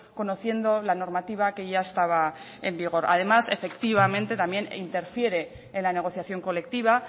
conociendo la normativa que ya estaba en vigor además efectivamente también interfiere en la negociación colectiva